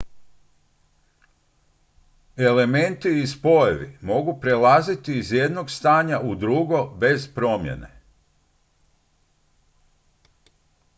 elementi i spojevi mogu prelaziti iz jednog stanja u drugo bez promjene